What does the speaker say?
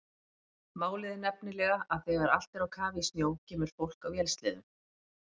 Málið er nefnilega að þegar allt er á kafi í snjó kemur fólk á vélsleðum.